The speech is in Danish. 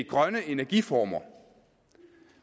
grønne energiformer